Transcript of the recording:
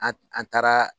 An an taara